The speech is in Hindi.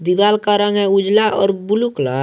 दीवाल का रंग है उजाला और ब्लू कलर ।